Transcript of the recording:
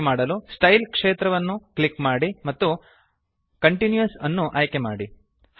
ಹಾಗೆ ಮಾಡಲು ಸ್ಟೈಲ್ ಕ್ಷೇತ್ರವನ್ನು ಕ್ಲಿಕ್ ಮಾಡಿ ಮತ್ತು ಕಂಟಿನ್ಯೂಯಸ್ ಅನ್ನು ಆಯ್ಕೆ ಮಾಡಿ